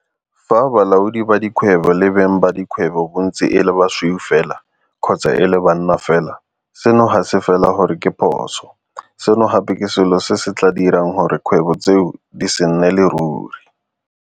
Fa balaodi ba dikgwebo le beng ba dikgwebo bontsi e le basweu fela kgotsa e le banna fela, seno ga se fela gore ke phoso, seno gape ke selo se se tla dirang gore 'kgwebo tseo di se nnele ruri.